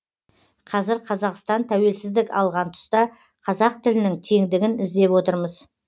қазір қазақстан тәуелсіздік алған тұста қазақ тілінің теңдігін іздеп отырмыз